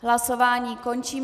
Hlasování končím.